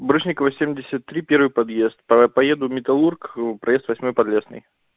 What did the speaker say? барышникова семьдесят три первый подъезд поеду металлург проезд восьмой подлесной